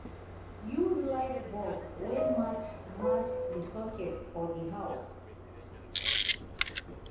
use light bulb wey match match di socket for di house